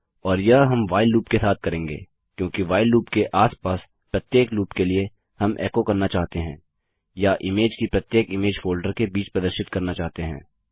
और यह हम व्हाइल लूप के साथ करेंगे क्योंकि व्हाइल लूप के आस पास प्रत्येक लूप के लिए हम एको करना चाहते हैं या इमेज की प्रत्येक इमेज फोल्डर के बीच प्रदर्शित करना चाहते हैं